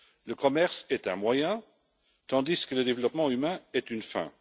Le commerce est un moyen, tandis que le développement humain est une fin.